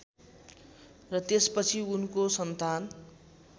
र त्यसपछि उनको सन्तान